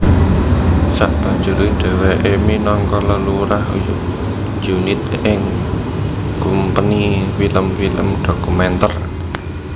Sabanjuré dhèwèké minangka lelurah unit ing kumpeni film film dhokumèntèr